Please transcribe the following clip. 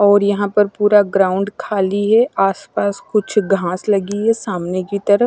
और यहां पर पूरा ग्राउंड खाली है आस पास कुछ घास लगी है सामने की तरफ--